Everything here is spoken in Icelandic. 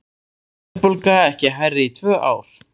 Verðbólga ekki hærri í tvö ár